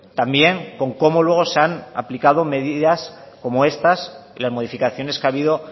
también con cómo luego se han aplicado medidas como estas y las modificaciones que ha habido